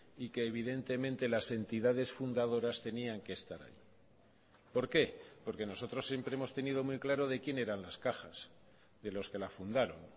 y que evidentemente las entidades fundadoras tenían que estar por qué porque nosotros siempre hemos tenido muy claro de quien eran las cajas de los que la fundaron